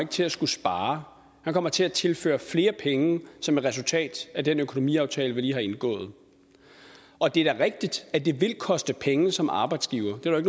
til at skulle spare han kommer til at tilføre flere penge som et resultat af den økonomiaftale vi lige har indgået og det er da rigtigt at det vil koste penge som arbejdsgiver det er